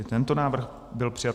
I tento návrh byl přijat.